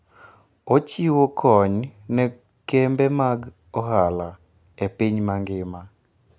Ochiwo kony ne kembe mag ohala e piny mangima.